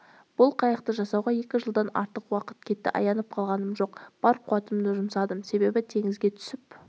осы қайықты жасауға екі жылдан артық уақыт кетті аянып қалғаным жоқ бар қуатымды жұмсадым себебі теңізге түсіп